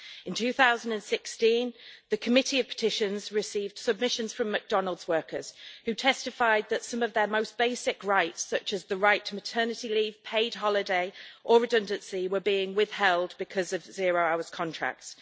In 2016, the Committee on Petitions received submissions from McDonald's workers who testified that some of their most basic rights, such as the right to maternity leave, paid holidays and redundancy rights, were being withheld because of zero hours contracts.